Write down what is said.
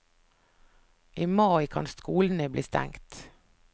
I mai kan skolene bli stengt.